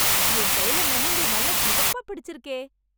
என் கையில மெஹந்தி நல்லா சிவப்பா பிடிச்சிருக்கே...